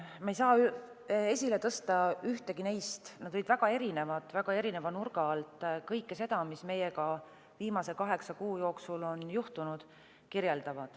Ma ei saa esile tõsta ühtegi neist, need olid väga erinevad ja kirjeldasid väga erineva nurga alt kõike seda, mis meiega viimase kaheksa kuu jooksul on juhtunud.